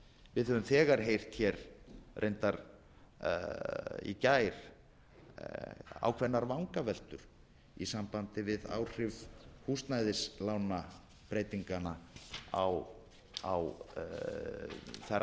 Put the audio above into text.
við höfum þegar heyrt í gær ákveðnar vangaveltur í sambandi við áhrif húsnæðislánabreytinganna á þær aðstæður sem urðu til að